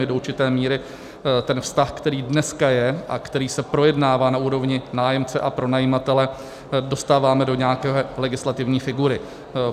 My do určité míry ten vztah, který dneska je a který se projednává na úrovni nájemce a pronajímatele, dostáváme do nějaké legislativní figury.